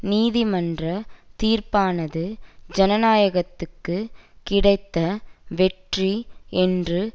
நீதிமன்ற தீர்ப்பானது ஜனநாயகத்துக்கு கிடைத்த வெற்றி என்று